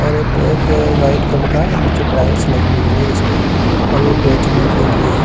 और ये पैक है व्हाइट कलर का नीचे टाइल्स लगी हुई है इसके और यह बेचने के लिए हैं।